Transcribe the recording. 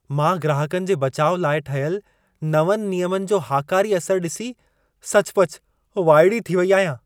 मां ग्राहकनि जे बचाउ लाइ ठहियल नवंनि नियमनि जो हाकारी असर ॾिसी सचुपचु वाइड़ी थी वेई आहियां।